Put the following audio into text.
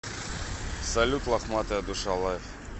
салют лохматая душа лайв